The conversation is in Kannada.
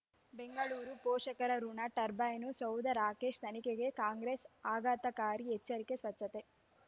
ಬೆಂಗಳೂರು ಪೋಷಕರಋಣ ಟರ್ಬೈನು ಸೌಧ ರಾಕೇಶ್ ತನಿಖೆಗೆ ಕಾಂಗ್ರೆಸ್ ಆಘಾತಕಾರಿ ಎಚ್ಚರಿಕೆ ಸ್ವಚ್ಛತೆ